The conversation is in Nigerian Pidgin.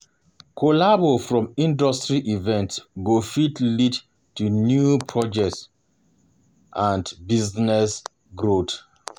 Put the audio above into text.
Collabo from industry events go fit lead to new projects to new projects and business growth